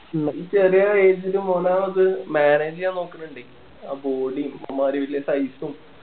ഈ ചെറിയ age ലും ഓൻ അത് manage ചെയ്യാൻ നോക്കണുണ്ടേ ആ body ഉം അമ്മാതിരി വല്യ size ഉം